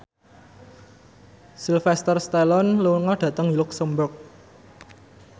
Sylvester Stallone lunga dhateng luxemburg